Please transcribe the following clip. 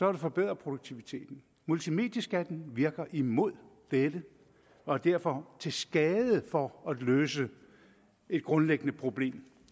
at forbedre produktiviteten multimedieskatten virker imod dette og er derfor til skade for at løse et grundlæggende problem